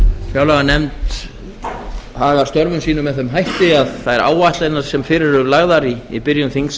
fjárlaganefnd hagi störfum sínum með þeim hætti að þær áætlanir sem fyrir eru lagðar í byrjun þings